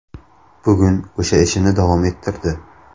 Bugun o‘sha ishini davom ettirdi.